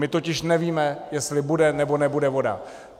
My totiž nevíme, jestli bude nebo nebude voda.